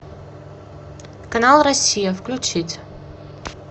канал россия включить